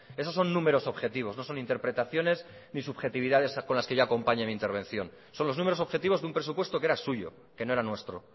eso son números objetivos no son interpretaciones ni subjetividades con las que yo acompañe mi intervención son los números objetivos de un presupuesto que era suyo que no era nuestro